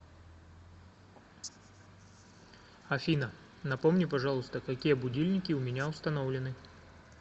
афина напомни пожалуйста какие будильники у меня установлены